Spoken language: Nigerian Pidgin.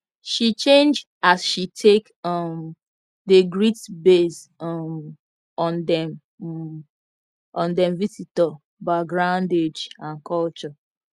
she change as she take um dey greet base um on dem um on dem visitor backgroundage and culture